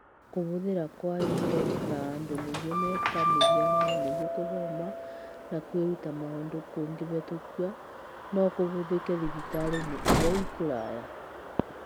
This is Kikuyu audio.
Kũhũthĩra kwa indo na andũ nĩguo me ta mũhiano nĩguo gũthoma na kwĩruta maũndũ kũngĩhetũkio, no kũhũthĩke thibitarĩ-inĩ ĩrĩa ciĩ kũraya .